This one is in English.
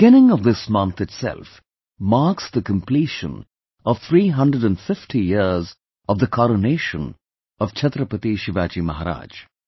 The beginning of this month itself marks the completion of 350 years of the coronation of Chhatrapati Shivaji Maharaj